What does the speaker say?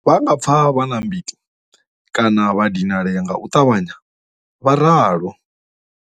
Vha nga pfa vha na mbiti kana vha dinalea nga u ṱavhanya, vho ralo.